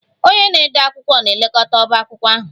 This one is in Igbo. Onye na-ede akwụkwọ na-elekọta ọbá akwụkwọ ahụ